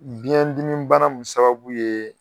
Biɲɛ dimi bana mun sababu ye.